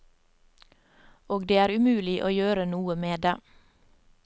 Og det er umulig å gjøre noe med det.